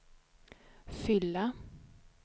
fylla